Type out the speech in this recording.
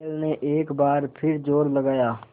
बैल ने एक बार फिर जोर लगाया